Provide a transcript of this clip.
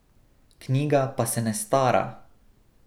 Knjiga pa se ne stara!